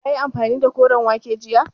Kayi amfani da koren wake jiya?